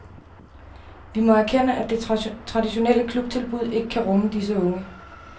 Vi må erkende, at det traditionelle klubtilbud ikke kan rumme disse unge.